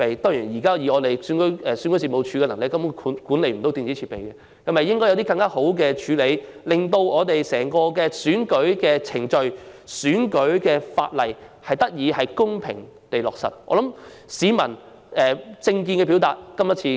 當然，以目前選舉事務處的能力，根本無法管理電子設備，但是否應該有更好的處理方法，令整個選舉程序得以公平地進行、選舉法例得以落實？